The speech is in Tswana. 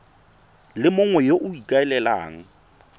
le mongwe yo o ikaelelang